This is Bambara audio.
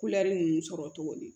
Kulɛri ninnu sɔrɔ cogo di